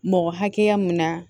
Mɔgɔ hakɛya mun na